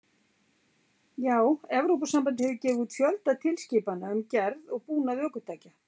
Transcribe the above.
Já, Evrópusambandið hefur gefið út fjölda tilskipana um gerð og búnað ökutækja.